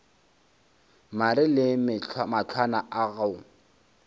mare le mahlwana a go